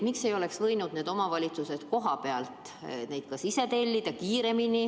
Miks ei oleks võinud omavalitsused kohapealt neid ise kiiremini tellida?